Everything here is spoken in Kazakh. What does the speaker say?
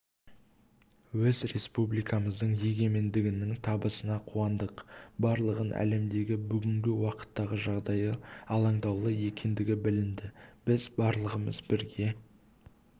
өз республикамыздың егемендігінің табысына қуандық барлығын әлемдегі бүгінгі уақыттағы жағдайы алаңдаулы екендігі білінді біз барлығымен бірге